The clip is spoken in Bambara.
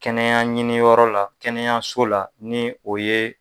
Kɛnɛya ɲiniyɔrɔ la kɛnɛyaso la ni o ye